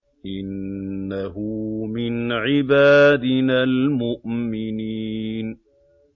إِنَّهُ مِنْ عِبَادِنَا الْمُؤْمِنِينَ